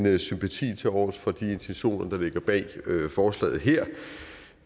end sympati tilovers for de intentioner der ligger bag forslaget her